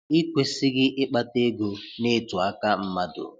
Ị kwesịghị ịkpata ego nịtụ aka mmadụ?